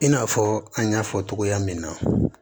I n'a fɔ an y'a fɔ togoya min na